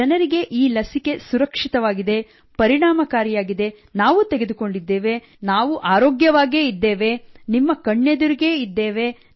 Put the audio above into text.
ಜನರಿಗೆ ಈ ಲಸಿಕೆ ಸುರಕ್ಷಿತವಾಗಿದೆ ಪರಿಣಾಮಕಾರಿಯಾಗಿದೆ ನಾವೂ ತೆಗೆದುಕೊಂಡಿದ್ದೇವೆ ನಾವು ಆರೋಗ್ಯವಾಗೇ ಇದ್ದೇವೆ ನಿಮ್ಮ ಕಣ್ಣೆದುರಿಗೇ ಇದ್ದೇವೆ